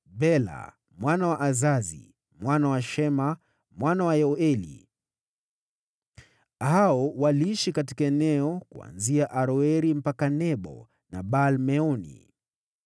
Bela mwana wa Azazi, mwana wa Shema, mwana wa Yoeli. Hao waliishi katika eneo kuanzia Aroeri mpaka Nebo na Baal-Meoni.